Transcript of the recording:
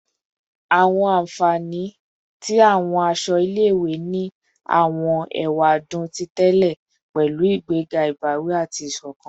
Awọn anfani ti awọn aṣọ ile-iwe ni awọn ewadun ti tẹlẹ pẹlu igbega ibawi ati isokan